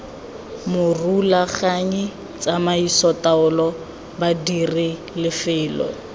morulaganyi tsamaiso taolo badiri lefelo